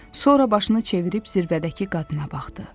Sonra başını çevirib zirvədəki qadına baxdı.